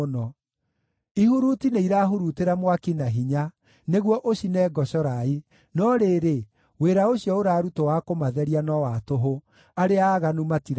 Ihuruti nĩirahurutĩra mwaki na hinya nĩguo ũcine ngocorai, no rĩrĩ, wĩra ũcio ũrarutwo wa kũmatheria no wa tũhũ; arĩa aaganu matirathera.